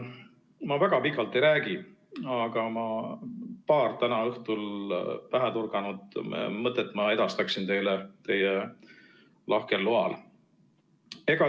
Ma väga pikalt ei räägi, aga paar täna õhtul pähe torganud mõtet edastaksin teile teie lahkel loal.